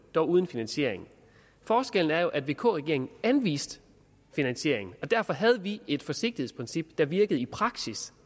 dog uden finansiering forskellen er jo at vk regeringen anviste finansiering og derfor havde vi et forsigtighedsprincip der virkede i praksis